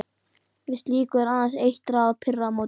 Við slíku er aðeins eitt ráð: pirra á móti.